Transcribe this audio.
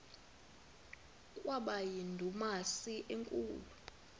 kwaba yindumasi enkulu